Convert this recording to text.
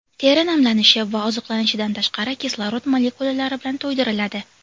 Teri namlanishi va oziqlanishidan tashqari kislorod molekulalari bilan to‘ydiriladi.